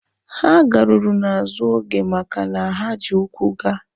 Ha garuru n'azụ oge maka na ha ji ụkwụ gaa